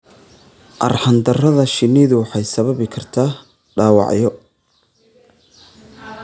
Arxan darada shinnidu waxay sababi kartaa dhaawacyo.